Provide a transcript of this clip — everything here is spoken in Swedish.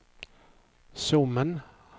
Sommen